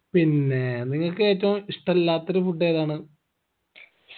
പിന്നേ നിങ്ങക്ക് ഏറ്റും ഇഷ്ടല്ലാത്തൊരു food ഏതാണ്